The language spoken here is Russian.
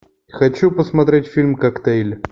хочу посмотреть фильм коктейль